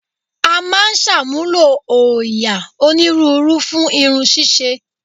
A máa ń ṣàmúlò òòyà onírúurú fún irun ṣíṣe